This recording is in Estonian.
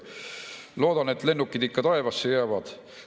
Loodan, et lennukid ikka taevasse jäävad.